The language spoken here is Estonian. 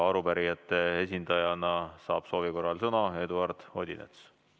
Arupärijate esindajana saab soovi korral sõna Eduard Odinets.